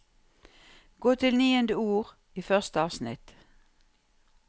Gå til niende ord i første avsnitt